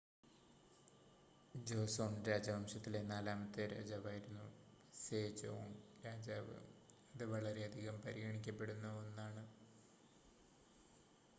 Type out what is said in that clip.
Joseon രാജവംശത്തിലെ നാലാമത്തെ രാജാവായിരുന്നു സെജോംഗ് രാജാവ് അത് വളരെയധികം പരിഗണിക്കപ്പെടുന്ന 1 ആണ്